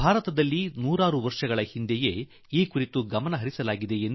ಭಾರತದಲ್ಲಿ ಯುಗ ಯುಗಗಳಿಂದ ಈ ಸಂಗತಿಗಳಿಗೆ ಮಹತ್ವ ನೀಡಲಾಗಿದೆ